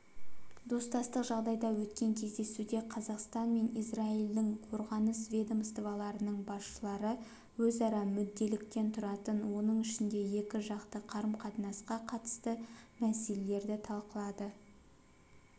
достастық жағдайда өткен кездесуде қазақстан мен израильдің қорғаныс ведомстволарының басшылары өзара мүдделіліктен тұратын оның ішінде екіжақты қарым-қатынасқа қатысты мәселелерді талқылады